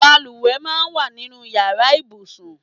Bàlùwẹ̀ máa ń wà nínú ìyára ibùsùn.